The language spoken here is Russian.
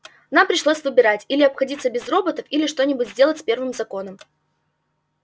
нам пришлось выбирать или обходиться без роботов или что-нибудь сделать с первым законом